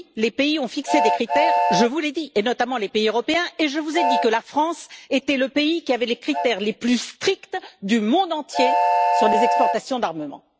Oui, les pays ont fixé des critères, je vous l'ai dit, notamment les pays européens, et je vous ai dit que la France était le pays qui avait les critères les plus stricts du monde entier sur les exportations d'armement.